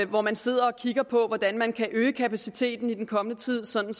hvor man sidder og kigger på hvordan man kan øge kapaciteten i den kommende tid sådan